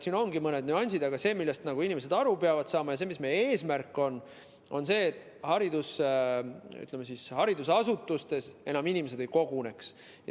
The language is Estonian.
Siin ongi mõned nüansid, aga see, millest inimesed aru peavad saama, ja see, mis meie eesmärk on, on see, et inimesed enam haridusasutustes ei koguneks.